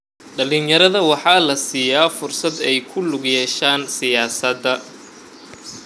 Dhallinyarada waxaa la siiyaa fursad ay ku lug yeeshaan siyaasadda.